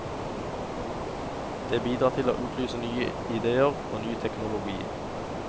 Det bidrar til å utløse nye idéer og ny teknologi.